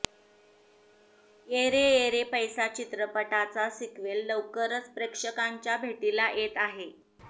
ये रे ये रे पैसा चित्रपटाचा सिक्वेल लवकरच प्रेक्षकांच्या भेटीला येत आहे